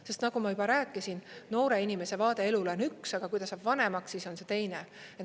Sest nagu ma juba rääkisin, noore inimese vaade elule on üks, aga kui ta saab vanemaks, siis on see teine.